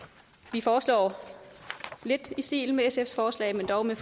vi foreslår lidt i stil med sfs forslag men dog med